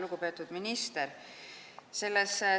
Lugupeetud minister!